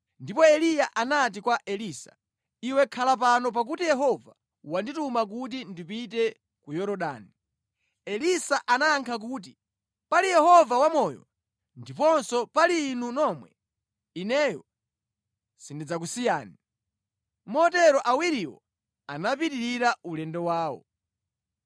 Ndipo Eliya anati kwa Elisa, “Iwe khala pano pakuti Yehova wandituma kuti ndipite ku Yorodani.” Elisa anayankha kuti, “Pali Yehova wamoyo ndiponso pali inu nomwe, ineyo sindidzakusiyani.” Motero awiriwo anapitirira ulendo wawo.